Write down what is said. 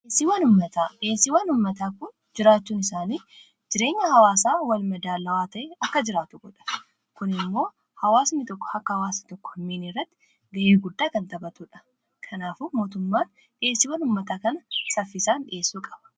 Dhiyeessiiwwan uummataa jiraachuun isaanii jireenya hawaasaa walmadaalawaa ta'ee akka jiraatu godha. Kuni immoo hawaasni tokko akka hawaasa tokko hin miine gochuu irratti ga'ee guddaa kan taphatudha. Kanaaf mootummaan dhiyeessiiwwan uummataa kana saffisaan dhiyeessuu qaba.